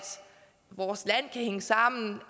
vores land hænge sammen